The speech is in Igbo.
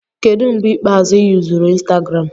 Kedu mgbe ikpeazụ ị yuzuru Instagram?